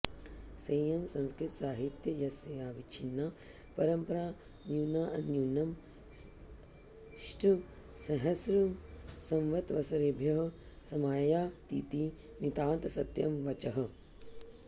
सेयं संस्कृत साहित्यस्याविच्छिन्ना परम्परा न्यूनान्न्यूनमष्टसहस्रसंवत्सरेभ्यः समायातीति नितान्तसत्यं वचः